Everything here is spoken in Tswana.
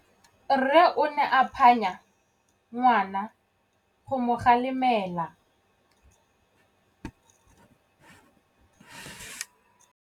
Rre o ne a phanya ngwana go mo galemela.